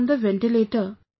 I was on the ventilator